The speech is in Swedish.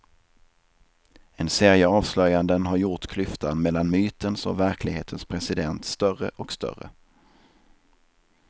En serie avslöjanden har gjort klyftan mellan mytens och verklighetens president större och större.